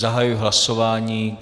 Zahajuji hlasování.